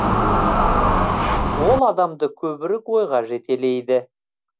ол адамды көбірек ойға жетелейді